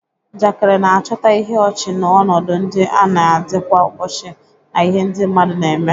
Njakịrị na-achọta ihe ọchị n'ọnọdụ ndị a na-adị kwa ụbọchị na ihe ndị mmadụ na-eme.